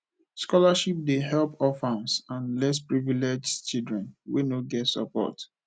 scholarship dey help orphans and less privileged children wey no get support